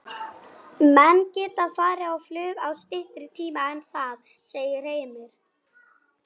Menn geta farið á flug á styttri tíma en það, segir Heimir.